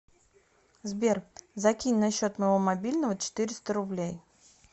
сбер закинь на счет моего мобильного четыреста рублей